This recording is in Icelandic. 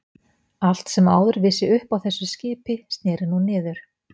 Allt sem áður vissi upp á þessu skipi snéri nú niður.